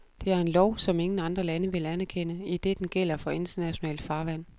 Det er en lov, som ingen andre lande vil anerkende, idet den gælder for internationalt farvand.